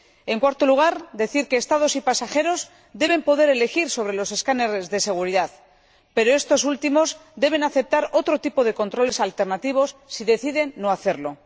En cuarto lugar, decir que Estados y pasajeros deben poder elegir sobre los escáneres de seguridad, pero los últimos deben aceptar otro tipo de controles alternativos si deciden no hacerlo.